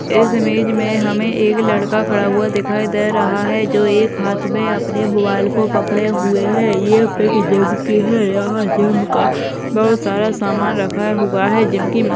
इस इमेज में हमे एक लड़का खड़ा हुआ दिखाई दे रहा है जो एक हाथ मे अपने मोबाईल को पकड़े हुए है। ये यहाँ जिम का बहुत सारा सामान रखा है। हुआ है जिम की --